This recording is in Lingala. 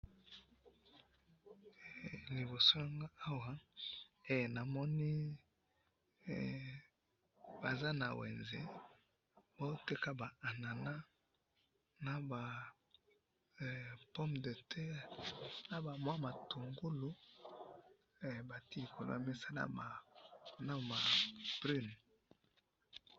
liboso na ngai awa, namoni baza na wenze bazo teka ba anana, na ba pomme de terre, na ba mwa matungulu, batie likolo ya mesa, na ba prune